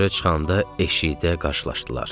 Çölə çıxanda eşikdə qarşılaşdılar.